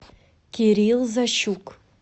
кирилл защук